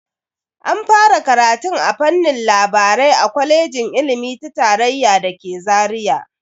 An fara karatun a fannin labarai a kwalejin ilimi ta tarayya da ke Zaria.